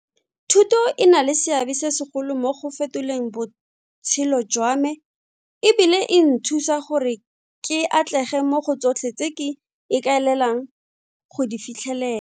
Thuto e na le seabe se segolo mo go fetoleng botshelo jwa me e bile e nthusa gore ke atlege mo go tsotlhe tse ke ikaelelang go di fitlhele.